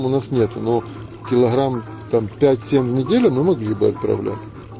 у нас нету но килограмм там пять семь в неделю мы могли бы отправлять